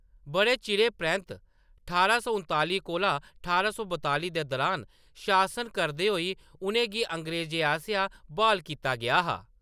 बड़े चिरें परैंत्त , ठारां सौ उतालीं कोला ठारां सौ बतालीं दे दौरान शासन करदे होई, उʼनें गी अंग्रेजें आसेआ ब्हाल कीता गेआ हा।